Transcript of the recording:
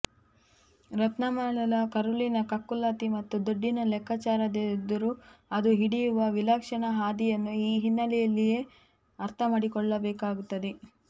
ರತ್ನಮಾಲಾಳ ಕರುಳಿನ ಕಕ್ಕುಲಾತಿ ಮತ್ತು ದುಡ್ಡಿನ ಲೆಕ್ಕಾಚಾರದೆದುರು ಅದು ಹಿಡಿಯುವ ವಿಲಕ್ಷಣ ಹಾದಿಯನ್ನು ಈ ಹಿನ್ನೆಲೆಯಲ್ಲಿಯೇ ಅರ್ಥಮಾಡಿಕೊಳ್ಳ ಬೇಕಾಗುತ್ತದೆ